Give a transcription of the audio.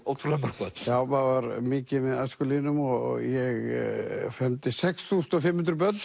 ótrúlega mörg börn já maður var mikið með æskulýðnum og ég sex þúsund og fimm hundruð börn